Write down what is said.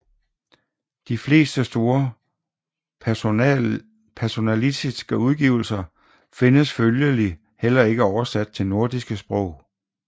De fleste store personalistiske udgivelser findes følgelig heller ikke oversat til nordiske sprog